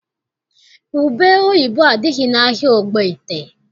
Ubeoyibo adịghị n'ahịa Ogbaete.